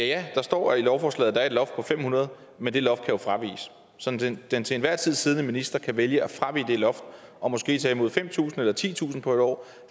ja der står i lovforslaget er et loft på fem hundrede men det loft kan jo fraviges så den den til enhver tid siddende minister kan vælge at fravige det loft og måske tage imod fem tusind eller titusind på en år